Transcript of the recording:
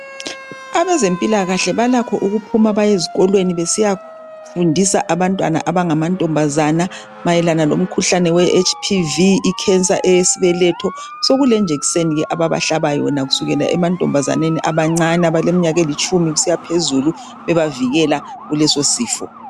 Abezempilakahle balakho ukuphuma baye ezikolweni besiyafundisa abantwana abangama ntombazane mayelana lomkhuhlane we "HPV",i"cancer" eyesibeletho. Sokulejekiseni ababahlaba yona kusukela emantombazaneni abancane abaleminyaka elitshumi kusiya phezulu bebavikela kuleso sifo.